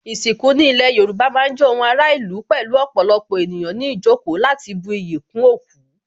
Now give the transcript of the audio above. Ìsìnkú ní ilé Yorùbá má ń jẹ́ ohun ara ìlú pẹ̀lú ọ̀pọ̀lọpọ̀ ènìyàn ní ìjókòó láti bu iyì kún òkú